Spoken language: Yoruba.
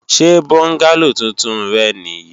Ṣe bọ́ngálò tuntun rẹ nì yí?